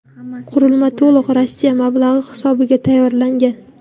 Qurilma to‘liq Rossiya mablag‘i hisobiga tayyorlangan.